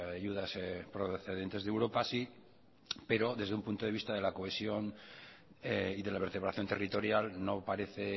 ayudas procedentes de europa sí pero desde un punto de vista de la cohesión y de la vertebración territorial no parece